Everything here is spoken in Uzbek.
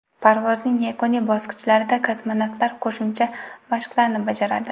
Parvozning yakuniy bosqichlarida kosmonavtlar qo‘shimcha mashqlarni bajaradi.